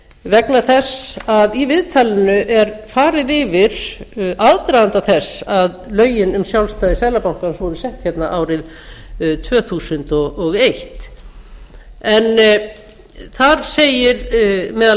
vegna þess að í viðtalinu er farið yfir aðdraganda þess að lögin um sjálfstæði seðlabankans voru sett hérna árið tvö þúsund og eitt í þessu viðtali segir meðal